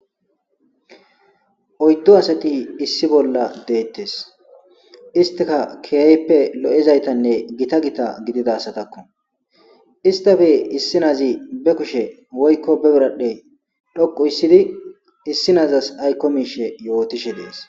Oyddo asati issi bolla deettes istika kiyayppe lo'ezaytanne gita gita gidida asatakko istafe issi naazi be kushe woykko beberadhdhe dhoqu issidi issi naazas aykko miishe yootishe dees.